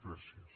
gràcies